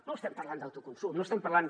no estem parlant d’autoconsum no estem parlant